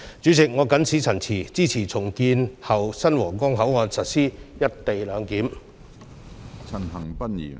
主席，我謹此陳辭，支持重建後的新皇崗口岸實施"一地兩檢"。